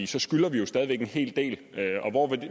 så skylder vi jo stadig væk en hel del og